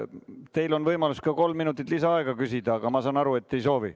Teil on võimalus ka kolm minutit lisaaega küsida, aga ma saan aru, et te ei soovi.